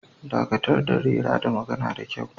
Dakatar da rera da magana da kyau